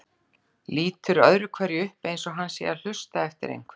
Lítur öðru hverju upp eins og hann sé að hlusta eftir einhverju.